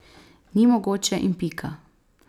Ni mogoče in pika.